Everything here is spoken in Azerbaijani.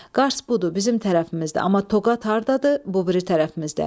Qars budur, bizim tərəfimizdə, amma Toqat hardadır, bu biri tərəfimizdə.